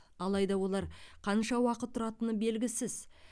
алайда олар қанша уақыт тұратыны белгісіз